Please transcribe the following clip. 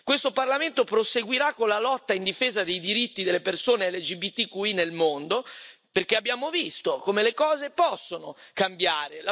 Questo Parlamento proseguirà con la lotta in difesa dei diritti delle persone LGBTQI nel mondo, perché abbiamo visto, come le cose possono cambiare.